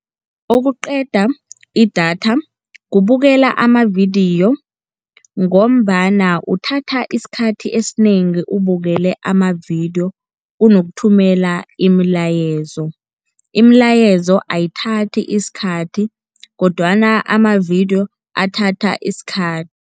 Okuqeda idatha kubukela amavidiyo, ngombana uthatha isikhathi esinengi ubukele amavidiyo kunokuthumela imilayezo. Imilayezo ayithathi isikhathi kodwana amavidiyo athatha isikhathi.